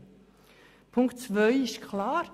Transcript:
Bei Punkt 2 ist es klar